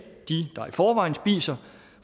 de der i forvejen spiser